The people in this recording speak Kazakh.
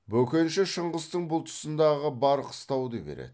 бөкенші шыңғыстың бұл тұсындағы бар қыстауды береді